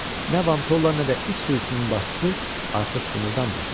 Nə Vantolla, nə də it sürüsünün başçısı artıq qımıldanmırdılar.